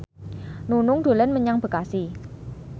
Nunung dolan menyang Bekasi